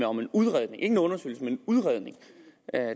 om en udredning ikke en undersøgelse men en udredning